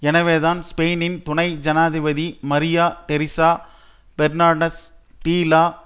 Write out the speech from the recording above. எனவேதான் ஸ்பெயினின் துணை ஜனாதிபதி மரியா டெரிசா பெர்னாண்டஸ் டி லா